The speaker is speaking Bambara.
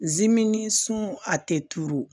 Zimini ni sun a tɛ turu